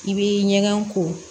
I bɛ ɲɛgɛn ko